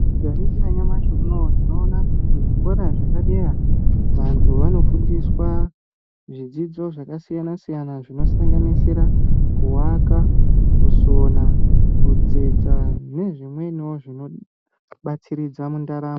Tikaringira nyamashi unoyu, tinoona kuti kuzvikora zvepadera, antu anofundiswa zvidzidzo zvakasiyana-siyana zvinosanganisira kuwaka, kusona, kutsetsa nezvimweniwo zvinobatsiridza mundaramo.